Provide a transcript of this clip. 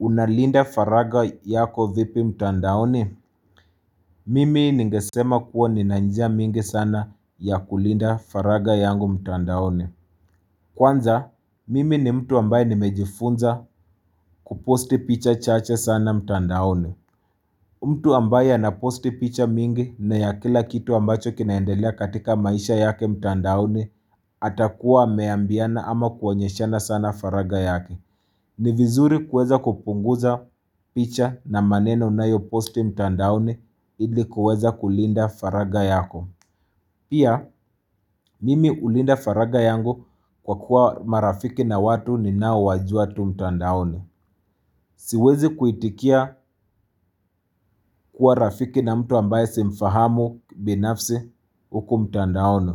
Unalinda faraga yako vipi mtandaoni? Mimi ningesema kuwa ni na njia mingi sana ya kulinda faraga yangu mtandaoni. Kwanza, mimi ni mtu ambaye nimejifunza kuposti picha chache sana mtandaoni. Mtu ambaye anaposti picha mingi na ya kila kitu ambacho kinaendelea katika maisha yake mtandaoni atakuwa ameambiana ama kuonyeshana sana faraga yake. Ni vizuri kueza kupunguza picha na maneno na unayoposti mtandaoni ilikuweza kulinda faraga yako. Pia, mimi hulinda faraga yangu kwa kuwa marafiki na watu ninaowajua tu mtandaoni. Siwezi kuitikia kuwa rafiki na mtu ambaye simfahamu binafsi uku mtandaoni.